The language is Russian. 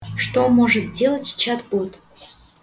что может делать чат-бот